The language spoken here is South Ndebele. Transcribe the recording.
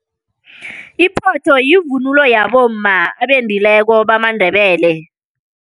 Iphotho yivunulo yabomma abendileko bamaNdebele.